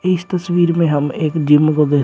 इस तस्वीर में हम एक जिम को देख--